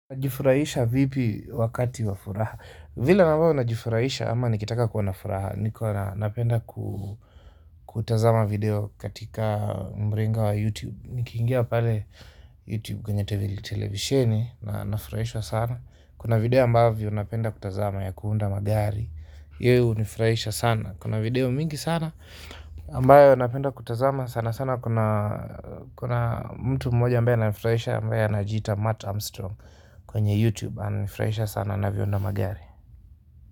Najifurahisha vipi wakati wa furaha vile ambavyo najifurahisha ama nikitaka kwa na furaha ni kwa napenda kutazama video katika mrenga wa YouTube. Niki ingia pale YouTube kwenye televisheni nafurahiswa sana. Kuna video ambavyo napenda kutazama ya kuunda magari iyo hunifurahisha sana kuna video mingi sana ambayo napenda kutazama sana sana kuna kuna mtu mmoja ambaye ananifurahisha ambaye anajiita Matt Armstrong kwenye YouTube ana nifurahisha sana anavyo unda magari.